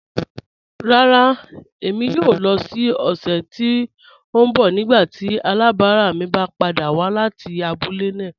Rárá, ẹ̀mi yóò lọ̀ ni ọ̀ṣẹ̀ tí n bọ̀ nígbàtí alábarà mi bá pàdà wà láti àbúlẹ̀ náà.